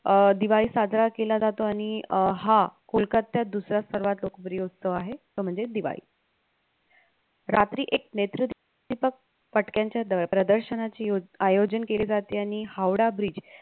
अं दिवाळी साजरा केला जातो आणि अं हा कोलकात्यात दुसरा सर्वात लोकप्रिय उत्सव आहे तो म्हणजे दिवाळी रात्री एक नेत्रदीपक फटक्यांच्या प्रदर्शनाची आयोजन केले जाते आणि हावडा Bridge